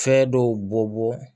Fɛ dɔw bɔbɔ